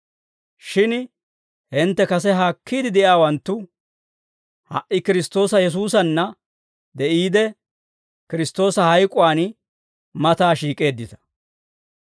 Shin hintte kase haakkiide de'iyaawanttu ha"i Kiristtoosa Yesuusanna de'iide, Kiristtoosa hayk'uwaan mataa shiik'eeddita.